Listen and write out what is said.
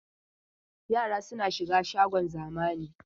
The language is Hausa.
Yara suna shiga shagon zamani.